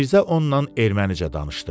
Mirzə onunla ermənicə danışdı.